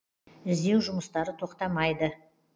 іздеу жұмыстары тоқтамайды